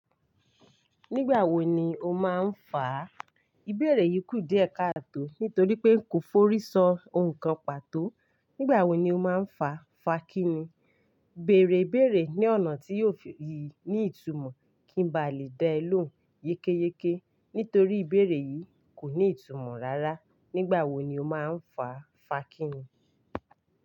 Nígbà wo ni o máa ń fà á? Ìbéèrè yìí kù díẹ̀ káàtò nítorí pé n kò forí ṣọ ohun kan pàtó. Nígbà wo ni o máa ń fà á? Fàá kí ni? Béèrè ìbéèrè ní ọ̀nà tí yóò fi ní ìtumọ̀ kí n ba lè dán an lóhùn yékéyéké nítorí ìbéèrè yìí kò ní ìtumọ̀ rárá. Nígbà wo ni o máa ń fà á? Fàá kí ni?